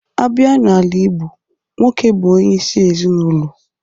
A bịa n'ala igbo, nwoke bụ onyeisi ezinaụlọ.